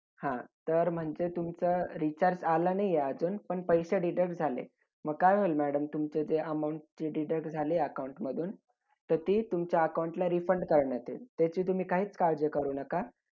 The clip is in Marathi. हजाल आणि मवाळ यांची एकती घडून आले तेव्हा आपण एकती करार अस सुद्धा बोलतो. त्यावेळी एखादसगळ्यात मोठे योगदान होते हे एकती घडून अनन्या नंतर